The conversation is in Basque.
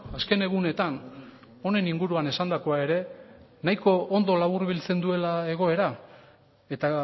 azken egunetan honen inguruan esandakoa ere nahiko ondo laburbiltzen duela egoera eta